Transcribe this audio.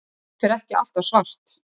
Grjót er ekki alltaf svart.